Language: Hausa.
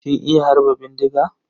Kin iya harba bindiga?